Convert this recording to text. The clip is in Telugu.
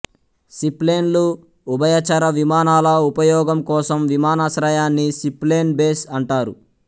సీప్లేన్లు ఉభయచర విమానాల ఉపయోగం కోసం విమానాశ్రయాన్ని సీప్లేన్ బేస్ అంటారు